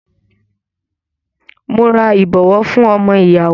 Mo ra ìbọwọ́ fún ọmọ ìyàwó.